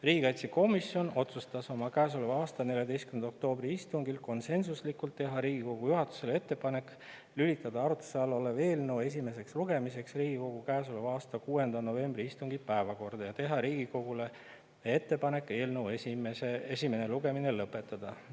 Riigikaitsekomisjon otsustas oma käesoleva aasta 14. oktoobri istungil konsensuslikult teha Riigikogu juhatusele ettepaneku lülitada arutluse all olev eelnõu esimeseks lugemiseks Riigikogu 6. novembri istungi päevakorda ja teha Riigikogule ettepaneku eelnõu esimene lugemine lõpetada.